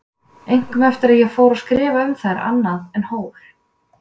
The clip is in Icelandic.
Einkum eftir að ég fór að skrifa um þær annað en hól.